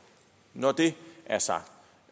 når det er sagt